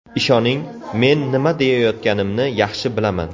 Ishoning, men nima deyayotganimni yaxshi bilaman.